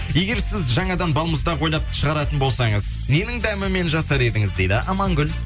егер сіз жаңадан балмұздақ ойлап шығаратын болсаңыз ненің дәмімен жасар едіңіз дейді амангүл